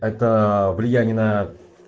это влияние на